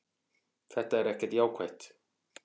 Þetta er ekkert jákvætt.